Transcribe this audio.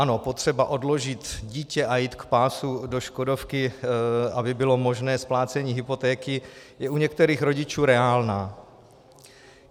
Ano, potřeba odložit dítě a jít k pásu do škodovky, aby bylo možné splácení hypotéky, je u některých rodičů reálná.